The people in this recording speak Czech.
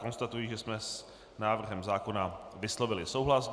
Konstatuji, že jsme s návrhem zákona vyslovili souhlas.